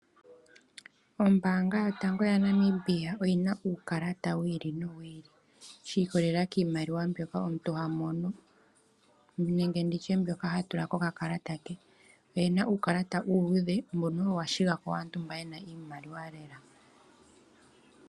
Ombanga yotango yopashigwana oyina uukalata wili no wili, shi kolelela kiimaliwa mbyoka omuntu ha mono nenge nditye mbyoka ha tula koka kalata ke, oyena uukalata uuludhe moka owo wa shigako, waantu mboka yena iimaliwa lela.